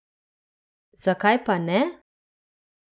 Zakaj pa ne?